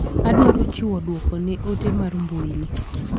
Adwaro chiwo duoko ne ote mar mbui ni.